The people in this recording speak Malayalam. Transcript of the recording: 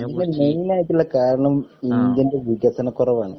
എനിക്കത് മെയിനായിട്ടുള്ള കാരണം ഇന്ത്യൻൻ്റെ വികസനകുറവാണ്